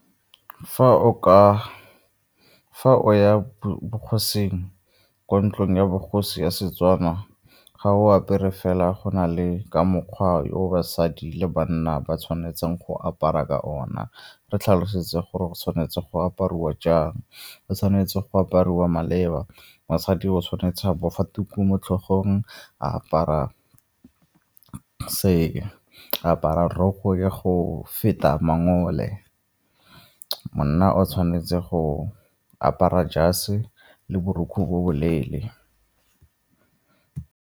Fa o ya bogosing, ko ntlong ya bogosi ya Setswana ga o apere fela go na le ka mokgwa o basadi le banna ba tshwanetseng go apara ka gona, re tlhalosetse gore go tshwanetse go aparwa jang? Go tshwanetse go apariwa maleba, mosadi o tshwanetse a bofe tuku mo tlhogong, a apara , apara roko ya go feta mangole, monna o tshwanetse go apara jase le borukgwe bo bo leele.